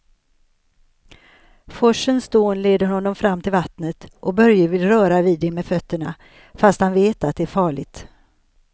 Forsens dån leder honom fram till vattnet och Börje vill röra vid det med fötterna, fast han vet att det är farligt.